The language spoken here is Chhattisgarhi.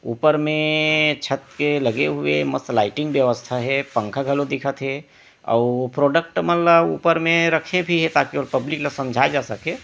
ऊपर में छत के लगे हुए मस्त लाइटिंग व्यवस्था हे पंखा घलोक दिखा थे अऊ प्रोडक्ट मन ल ऊपर मे रखे भी हे ताकि ओल पब्लिक ल समझाए जा सके--